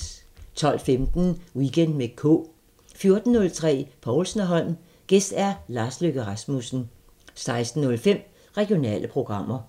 12:15: Weekend med K 14:03: Povlsen & Holm: Gæst Lars Løkke Rasmussen 16:05: Regionale programmer